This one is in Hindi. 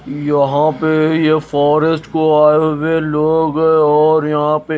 यहां पे ये फॉरेस्ट को आये हुए लोग है और यहां पे--